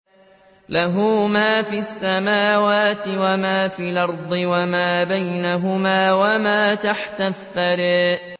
لَهُ مَا فِي السَّمَاوَاتِ وَمَا فِي الْأَرْضِ وَمَا بَيْنَهُمَا وَمَا تَحْتَ الثَّرَىٰ